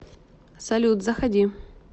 салют заходи